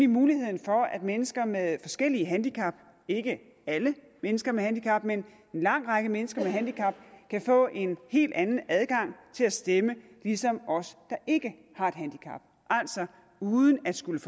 muligheden for at mennesker med forskellige handicap ikke alle mennesker med handicap men en lang række mennesker med handicap kan få en helt anden adgang til at stemme ligesom os der ikke har et handicap altså uden at skulle